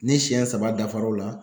Ni siyɛn saba dafara o la.